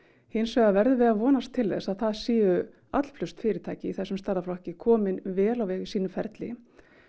hins vegar verðum við að vonast til þess að það séu allflest fyrirtæki í þessum stærðarflokki komin vel á veg í sínu ferli